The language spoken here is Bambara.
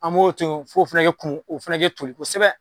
An b'o to yen f'o fɛnɛ kɛ kumu, o fɛnɛ kɛ toli kosɛbɛ.